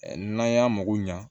N'an y'a mago ɲa